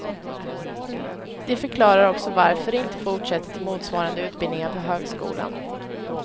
Det förklarar också varför de inte fortsätter till motsvarande utbildningar på högskolan.